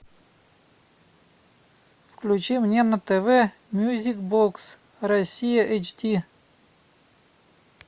включи мне на тв мьюзик бокс россия эйч ди